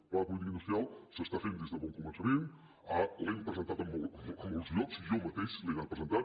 el pla de política industrial s’està fent des de bon començament l’hem presentat a molts llocs jo ma·teix l’he anat presentant